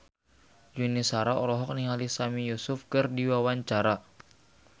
Yuni Shara olohok ningali Sami Yusuf keur diwawancara